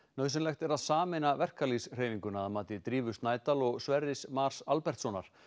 nauðsynlegt er að sameina verkalýðshreyfinguna að mati Drífu Snædal og Sverris Mars Albertssonar